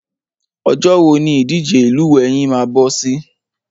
Ọjọ́ wo ni ìdíje lílúwẹ̀ẹ́ yín máa bọ́ sí?